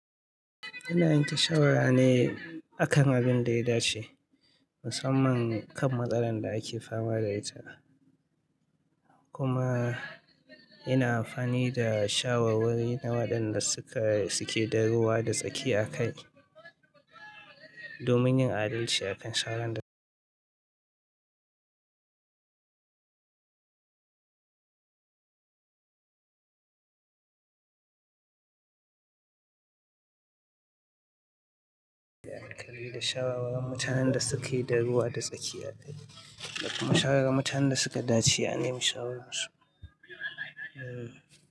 Ina yanke shawara ne akan abin da ya dace, musamman kan matsalan da ake fama da ita. Kuma ina amfani da shawarwari na waɗanda suke da ruwa da tsaki a kai domin yin adalci akan sharan da ake yi da kariya da shawarwar mutanen da suke da ruwa da tsaki a kai. Shawararin Mutanen da suka dace, anemi mashawararsu. Hmm.